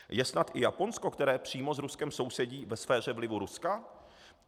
Je snad i Japonsko, které přímo s Ruskem sousedí, ve sféře vlivu Ruska?